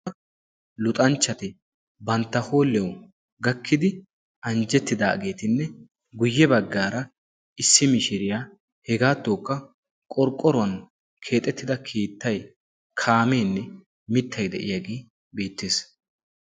Luxanchchati bantta hooliyawu gakkidi anjjettidaageetinne guyye baggaara issi mishiriyaa hegaattokka qorqqoruwan keexettida kiittay kaameenne mittay de'iyaage beettees.